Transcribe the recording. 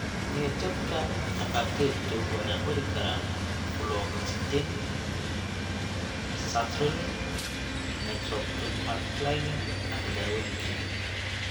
Niyad-jabka, dhakhaatiirtu waxay qori karaan fluoxetine, sertraline, nortriptyline, ama daawooyin kale.